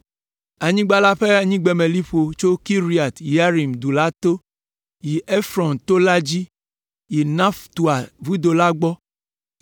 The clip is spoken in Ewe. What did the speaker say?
Anyigba la ƒe anyigbemeliƒo tso Kiriat Yearim du la to, yi Efrɔn to la dzi, yi Naftoa vudo la gbɔ,